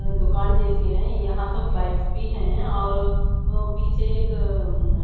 अ दुकान जैसी हैं यहां तो बाइक्स भी हैं और अ पीछे एक अं--